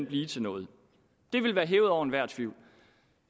blive til noget det ville være hævet over enhver tvivl